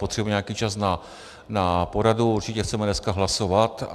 Potřebujeme nějaký čas na poradu, určitě chceme dneska hlasovat.